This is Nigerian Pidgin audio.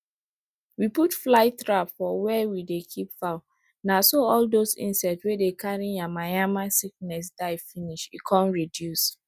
we put fly trap for where we dey keep fowl na so all those insect wey dey carry yamayama sickness die finish e come reduce